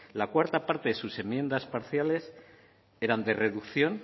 la cuarta parta de sus enmiendas parciales eran de reducción